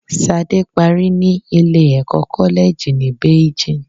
Sade parí ní ilé ẹ̀kọ́ koleji ní Beijing